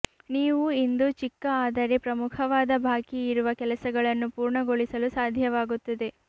ನೀವು ಇಂದು ಚಿಕ್ಕ ಆದರೆ ಪ್ರಮುಖವಾದ ಬಾಕಿಯಿರುವ ಕೆಲಸಗಳನ್ನು ಪೂರ್ಣಗೊಳಿಸಲು ಸಾಧ್ಯವಾಗುತ್ತದೆ